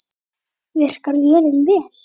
Virkar vélin vel?